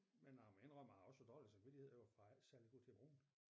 Men jeg må inddrømme at jeg også har dårlig samtidighed for jeg er ikke særlig god til at bruge den